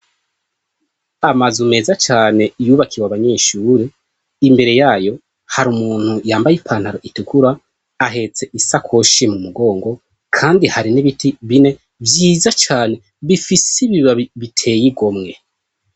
Amazu meza cane yubakiwe abanyeshure, imbere yayo hari umuntu yambaye ipantaro itukura ahetse isakoshi mu mugongo, kandi hari n'ibiti bine vyiza cane bifise ibibabi biteye igomwe.